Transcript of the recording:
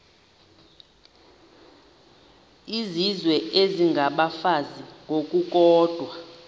izizwe isengabafazi ngokukodwa